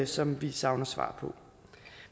som vi savner svar på